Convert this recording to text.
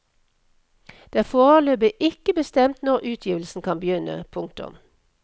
Det er foreløpig ikke bestemt når utgivelsen kan begynne. punktum